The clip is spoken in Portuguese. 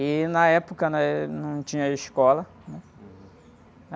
E, na época, né? Não tinha escola, né?